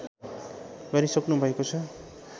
गरिसक्नुभएको छ